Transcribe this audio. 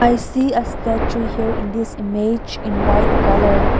i see a statue here in this image in white colour.